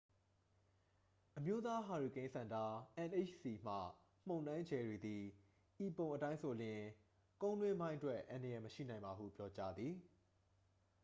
အမျိုးသားဟာရီကိန်းစင်တာ nhc မှ မုန်တိုင်း ဂျယ်ရီ သည် ဤပုံအတိုင်းဆိုလျှင် ကုန်းတွင်းပိုင်းအတွက်အန္တရာယ်မရှိနိုင်ပါဟု ပြောကြားသည်။